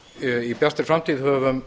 við í bjartri framtíð höfum